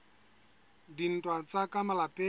a dintwa tsa ka malapeng